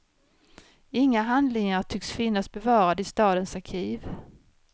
Inga handlingar tycks finnas bevarade i stadens arkiv.